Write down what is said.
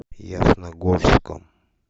ясногорском